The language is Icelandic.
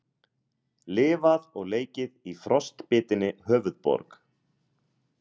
Lifað og leikið í frostbitinni höfuðborg